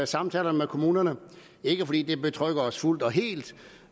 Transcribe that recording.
samtalerne med kommunerne ikke fordi det betrygger os fuldt og helt